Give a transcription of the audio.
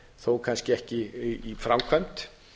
þó kannski ekki í framkvæmd